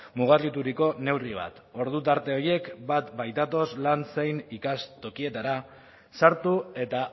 mugarrituriko neurri bat ordu tarte horiek bat baitatoz lan zein ikas tokietara sartu eta